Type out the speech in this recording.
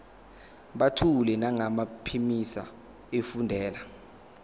buthule nangokuphimisa efundela